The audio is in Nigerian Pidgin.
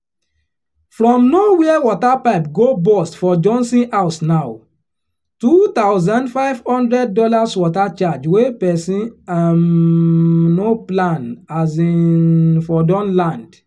from nowhere water pipe go burst for johnson house now two thousand five hundred dollars water charge wey person um no plan um for don land